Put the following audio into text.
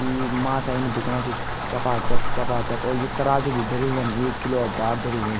ई माछा इन बिखणा छि चपा चप चपा चप और यु तराजू भी धर्युं यम एक किलो क बाट धर्युं इम।